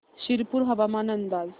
शिरपूर हवामान अंदाज